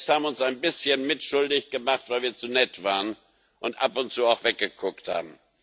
Wir selbst haben uns ein bisschen mitschuldig gemacht, weil wir zu nett waren und ab und zu auch weggeguckt haben.